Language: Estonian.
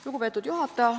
Lugupeetud juhataja!